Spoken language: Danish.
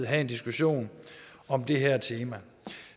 have en diskussion om det her tema